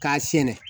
K'a sɛnɛ